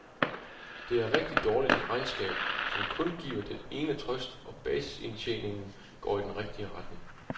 Det er et rigtig dårligt regnskab, som kun giver den ene trøst, at basisindtjeningen går i den rigtige retning.